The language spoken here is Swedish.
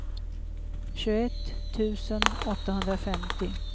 tjugoett tusen åttahundrafemtio